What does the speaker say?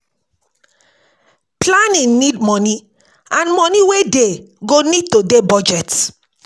Planning need moni and moni wey dey go need to dey budget